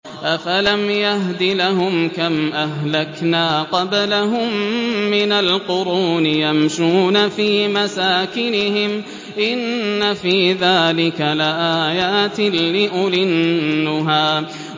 أَفَلَمْ يَهْدِ لَهُمْ كَمْ أَهْلَكْنَا قَبْلَهُم مِّنَ الْقُرُونِ يَمْشُونَ فِي مَسَاكِنِهِمْ ۗ إِنَّ فِي ذَٰلِكَ لَآيَاتٍ لِّأُولِي النُّهَىٰ